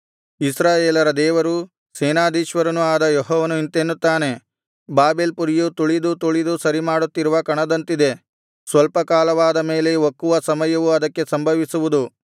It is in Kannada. ಇಸ್ರಾಯೇಲರ ದೇವರೂ ಸೇನಾಧೀಶ್ವರನೂ ಆದ ಯೆಹೋವನು ಇಂತೆನ್ನುತ್ತಾನೆ ಬಾಬೆಲ್ ಪುರಿಯು ತುಳಿದು ತುಳಿದು ಸರಿಮಾಡುತ್ತಿರುವ ಕಣದಂತಿದೆ ಸ್ವಲ್ಪ ಕಾಲವಾದ ಮೇಲೆ ಒಕ್ಕುವ ಸಮಯವು ಅದಕ್ಕೆ ಸಂಭವಿಸುವುದು